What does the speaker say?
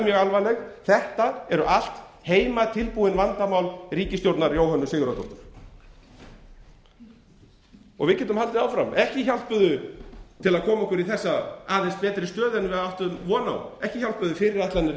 mjög alvarleg þetta eru allt heimatilbúin vandamál ríkisstjórnar jóhönnu sigurðardóttur við getum haldið áfram ekki hjálpuðu fyrirætlanir ríkisstjórnarinnar um að leggja á íslenskan almenning icesave klyfjarnar